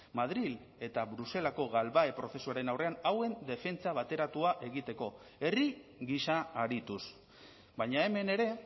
madril eta bruselako galbahe prozesuaren aurrean hauen defentsa bateratua egiteko herri gisa arituz baina hemen ere